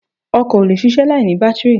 Ọkọ̀ ò lè ṣiṣẹ́ láìní bátìrì